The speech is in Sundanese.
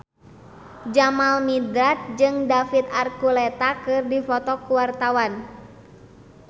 Jamal Mirdad jeung David Archuletta keur dipoto ku wartawan